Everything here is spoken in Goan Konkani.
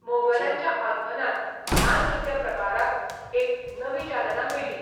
मोगलांच्या आगमनान, ह्या नृत्यप्रकाराक एक नवी चालना मेळ्ळी.